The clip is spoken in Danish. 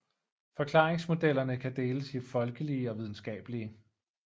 Forklaringsmodellerne kan deles i folkelige og videnskabelige